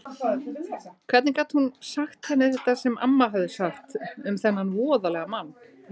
Hvernig gat hún sagt henni þetta sem amma hafði sagt um þennan voðalega mann?